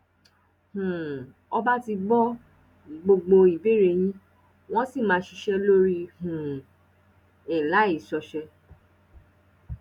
um ọba ti gbọ gbogbo ìbéèrè yín wọn sì máa ṣiṣẹ lórí um ẹ láì ṣọṣẹ